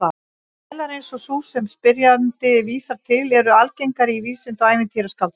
Vélar eins og sú sem spyrjandi vísar til eru algengar í vísinda- og ævintýraskáldskap.